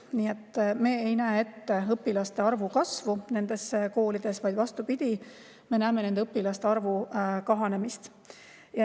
Nii et me ei näe ette õpilaste arvu kasvu nendes koolides, vaid vastupidi, me näeme ette õpilaste arvu kahanemist.